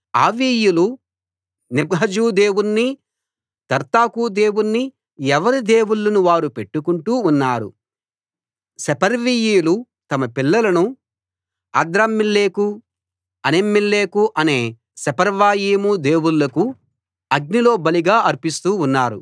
ఆవీయులు Nibhaz దేవుణ్ణి Tartak దేవుణ్ణి ఎవరి దేవుళ్ళను వారు పెట్టుకుంటూ ఉన్నారు సెపర్వీయులు తమ పిల్లలను ఆద్రమ్మెలెకు అనెమ్మెలెకు అనే సెపర్వయీము దేవుళ్ళకు అగ్నిలో బలిగా అర్పిస్తూ ఉన్నారు